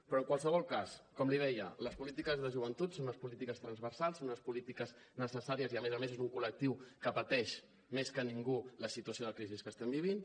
però en qualsevol cas com li deia les polítiques de joventut són unes polítiques transversals unes polítiques necessàries i a més a més és un col·lectiu que pateix més que ningú la situació de crisi que estem vivint